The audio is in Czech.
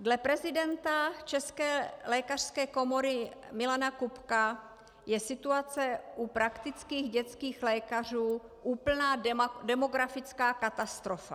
Dle prezidenta České lékařské komory Milana Kupka je situace u praktických dětských lékařů úplná demografická katastrofa.